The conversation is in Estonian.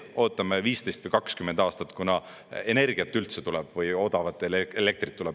Ootame 15 või 20 aastat, kuna energiat üldse tuleb või odavat elektrit tuleb.